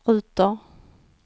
ruter